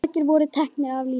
Margir voru teknir af lífi.